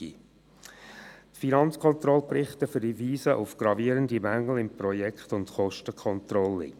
Die Finanzkontrollberichte verweisen auf gravierende Mängel im Projekt- und Kostencontrolling.